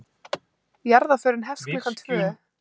Jarðarförin hefst klukkan tvö.